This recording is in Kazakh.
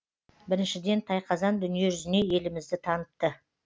біріншіден тайқазан дүниежүзіне елімізді танытты